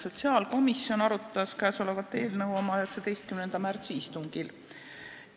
Sotsiaalkomisjon arutas käesolevat eelnõu oma 19. märtsi istungil.